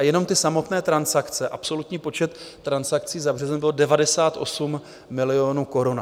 A jenom ty samotné transakce, absolutní počet transakcí za březen, bylo 98 milionů korun.